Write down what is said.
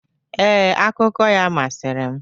Ee, akụkọ ya masịrị m.